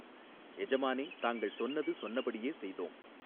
எஜமானே தாங்கள் சொன்னது சொன்னபடியே செய்தோம்.